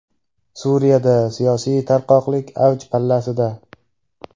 Suriyada siyosiy tarqoqlik avj pallasida.